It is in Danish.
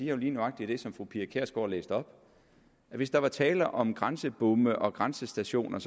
jo lige nøjagtig det som fru pia kjærsgaard læste op at hvis der var tale om grænsebomme og grænsestationer